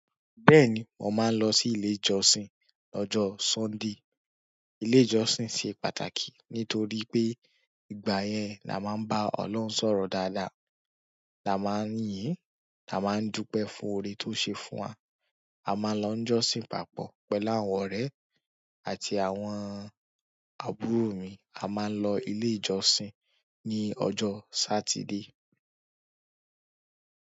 Bẹ́ẹ̀ni, mo máa ń lọ sí ilé ìjọsìn lọ́jọ́ Sunday. Ilé ìjọsìn ṣe pàtàkì nítorí pé ìgbà yẹn la máa ń bá Ọlọ́run sọ̀rọ̀ dáadáa, la máa ń yín, la máa ń dúpẹ́ fún oore tó ṣe fún wa. A máa ń lọ ń jọ́sìn papọ̀ pẹ̀lú àwọn ọ̀rẹ́ àti àwọn àbúrò mi. A máa ń lọ ilé ìjọsìn ní ọjọ́ Saturday.